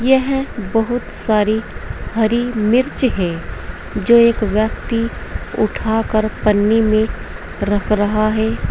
यह बहुत सारी हरी मिर्च है जो एक व्यक्ति उठाकर पन्नी में रख रहा है।